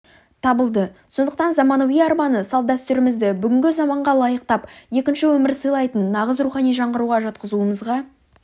табылды сондықтан заманауи арбаны салт-дәстүрімізді бүгінгі заманға лайықтап екінші өмір сыйлайтын нағыз рухани жаңғыруға жатқызуымызға